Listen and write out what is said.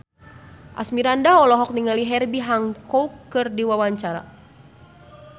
Asmirandah olohok ningali Herbie Hancock keur diwawancara